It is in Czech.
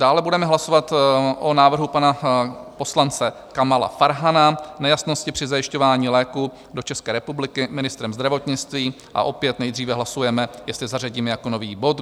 Dále budeme hlasovat o návrhu pana poslance Kamala Farhana - nejasnosti při zajišťování léků do České republiky ministrem zdravotnictví, a opět nejdříve hlasujeme, jestli zařadíme jako nový bod.